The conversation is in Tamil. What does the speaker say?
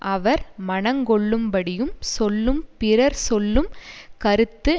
அவர் மனங் கொள்ளும்படியும் சொல்லும் பிறர் சொல்லும் கருத்து